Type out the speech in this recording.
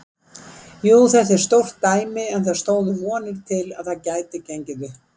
Jú, þetta var stórt dæmi en það stóðu vonir til að það gæti gengið upp.